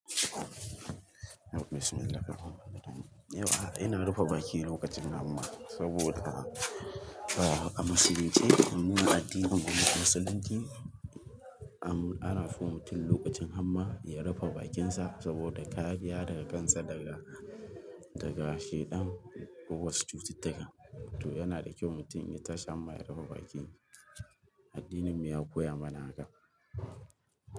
Yauwa bismillahirrahmanirrahim. Yauwa, ina rufe bakina lokacin hamma saboda a musulunce, domin addinin musulunci ana so mutum lokacin hamma ya rufe bakinsa saboda kariya da kansa daga, daga shiɗan ko wasu cututtuka. To yana da kyau mutum in ya tashi hamma ya rufe baki. Addinin mu ya koya mana haka.